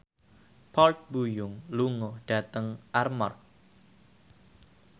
Park Bo Yung lunga dhateng Armargh